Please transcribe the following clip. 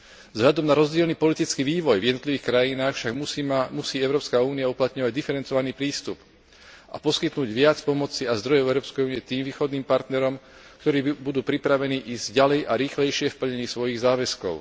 Vzhľadom na rozdielny politický vývoj v jednotlivých krajinách však musí Európska únia uplatňovať diferencovaný prístup a poskytnúť viac pomoci a zdrojov Európskej únie tým východným partnerom, ktorí budú pripravení ísť ďalej a rýchlejšie v plnení svojich záväzkov.